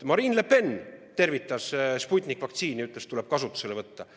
Marine Le Pen tervitas Sputniku vaktsiini ja ütles, et tuleb kasutusele võtta.